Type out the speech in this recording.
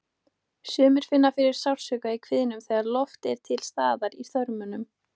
Sumir finna fyrir sársauka í kviðnum þegar loft er til staðar í þörmunum.